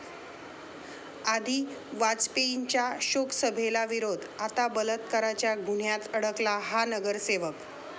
आधी वाजपेयींच्या शोकसभेला विरोध, आता बलात्काराच्या गुन्ह्यात अडकला हा नगरसेवक